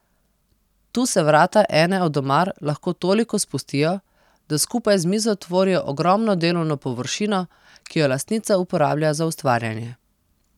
Tu se vrata ene od omar lahko toliko spustijo, da skupaj z mizo tvorijo ogromno delovno površino, ki jo lastnica uporablja za ustvarjanje.